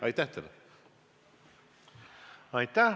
Aitäh!